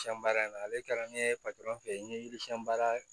Siyɛn baara in na ale kɛra ne ye fɛ yen n ye yiri siɲɛn baara